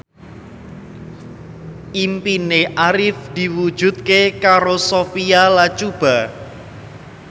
impine Arif diwujudke karo Sophia Latjuba